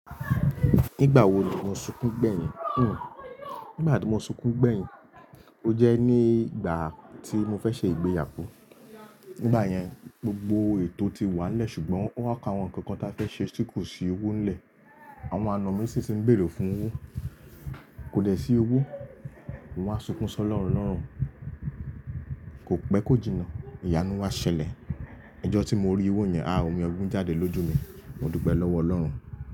Nígbà wo ni mo sunkún gbẹ̀yìn? Hmm. Nígbà tí mo sunkún gbẹ̀yìn, o jẹ́ ní ìgbà tí mo fẹ́ ṣe ìgbéyàwó. Nígbà yẹn, gbogbo ètò ti wà nílẹ̀ ṣùgbọ́n wọ́n ka àwọn nǹkan kan ta fẹ́ ṣe tí kò sí owó nílẹ̀. Àwọn àna mi sì ti ń bèrè fún owó. Kò dẹ sí owó. Mo máa sunkún sọ lọ́run lọ́run. Kò pẹ́, kò jìnnà, ìyanu wa ṣẹlẹ̀. Ọjọ́ tí mo rí owó yẹn, ah! Omi ekún jáde lójú mi. Mo dúpẹ́ lọ́wọ́ Ọlọ́run.